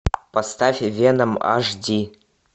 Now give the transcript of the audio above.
поставь веном ашди